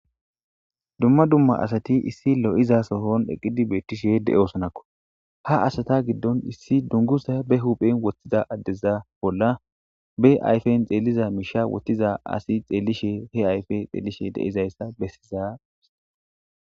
Dumma dumma asati issi lo'iza sohon eqidi betishe de'osonako, ha asata gidon issi dunguza be huphen wothida adeza bolla be ayfen xeliza misha wothida asiy xelishe he ayfe xelishe de'zaysa besiza